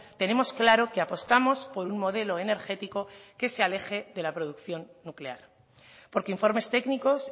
tenemos claro que apostamos por un modelo energético que se aleje de la producción nuclear porque informes técnicos